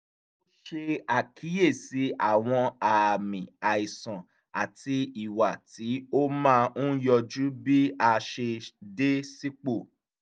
ó ṣe àkíyèsí àwọn àmì àìsàn àti ìwà tí ó máa ń yọjú bí a ṣe dé sípò